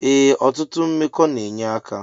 Ee otutụ mmekọ na enye aka.